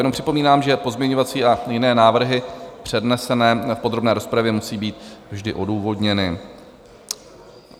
Jenom připomínám, že pozměňovací a jiné návrhy přednesené v podrobné rozpravě musí být vždy odůvodněny.